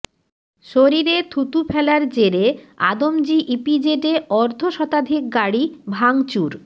শরীরে থুতু ফেলার জেরে আদমজী ইপিজেডে অর্ধশতাধিক গাড়ি ভাঙচুর